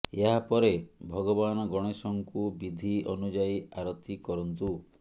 ଏହା ପରେ ଭଗବାନ ଗଣେଶଙ୍କୁ ବିଧି ଅନୁଯାୟୀ ଆରତି କରନ୍ତୁ